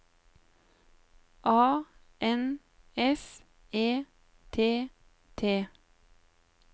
A N S E T T